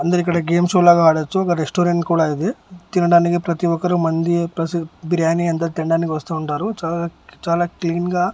అందరూ ఇక్కడ game show లాగా ఆడోచ్చు ఒక రెస్టారెంట్ కూడా ఇది తినడానికి ప్రతి ఒక్కరు మండి ప్రసి బిర్యాని అంతా తినడానికి వస్తూ ఉంటారు చాలా చాలా క్లీన్ గా --